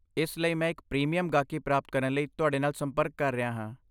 ਇਸ ਲਈ ਮੈਂ ਇੱਕ ਪ੍ਰੀਮੀਅਮ ਗਾਹਕੀ ਪ੍ਰਾਪਤ ਕਰਨ ਲਈ ਤੁਹਾਡੇ ਨਾਲ ਸੰਪਰਕ ਕਰ ਰਿਹਾ ਹਾਂ।